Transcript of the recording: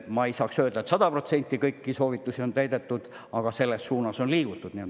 Ma ei saa öelda, et sada protsenti kõiki soovitusi on täidetud, aga selles suunas on liigutud.